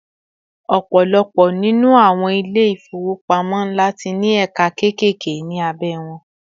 ọpọlọpọ ninu àwọn ilé ifowopamọ nla ti ní ẹka kekeke ni abe won